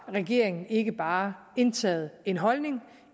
regeringen ikke bare har indtaget en holdning